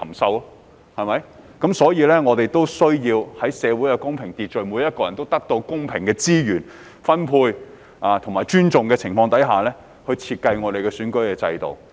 我們的社會需要有公平秩序，並在每個人皆獲得公平資源分配和尊重的情況下，設計我們的選舉制度。